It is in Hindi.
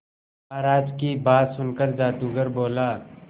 महाराज की बात सुनकर जादूगर बोला